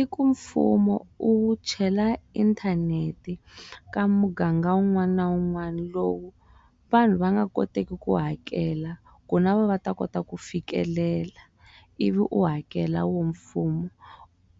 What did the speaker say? I ku mfumo u chela inthanete ka muganga wun'wana na wun'wana lowu vanhu va nga koteki ku hakela ku na vona va ta kota ku fikelela i vi u hakela wo mfumo